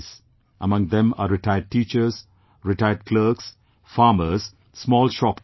Among them are retired teachers, retired clerks, farmers, small shopkeepers